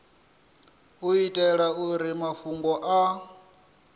u itela uri mafhungo a